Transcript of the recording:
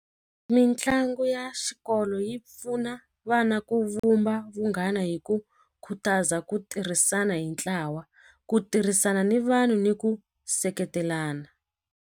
Mitlangu ya xikolo yi pfuna vana ku vumba vunghana hi ku khutaza ku tirhisana hi ntlawa ku tirhisana ni vanhu ni ku seketelana.